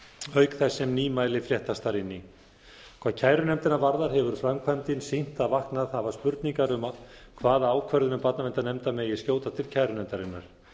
auk þess sem nýmæli fléttast þar inn í hvað kærunefndina varðar hefur framkvæmdin sýnt að vaknað hafa spurningar um hvaða ákvörðunum barnaverndarnefnda megi skjóta til kærunefndarinnar